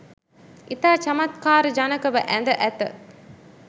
ඉතා චමත්කාරජනකව ඇඳ ඇත.